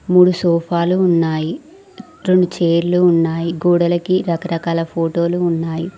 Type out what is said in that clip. మూడు సోఫాలు ఉన్నాయి రెండు చైర్లు ఉన్నాయి గోడలకి రకరకాల ఫొటో లు ఉన్నాయి.